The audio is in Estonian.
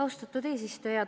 Austatud eesistuja!